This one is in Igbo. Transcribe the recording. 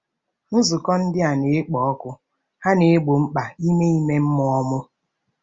Nzukọ ndị a na-ekpo ọkụ, ha na-egbo mkpa ime ime mmụọ m.